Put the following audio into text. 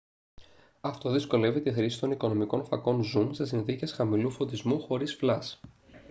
αυτό δυσκολεύει τη χρήση των οικονομικών φακών ζουμ σε συνθήκες χαμηλού φωτισμού χωρίς φλας